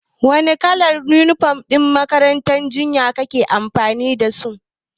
Wane kalar yunifom ne ma'aikatan jinya ke amfani da su?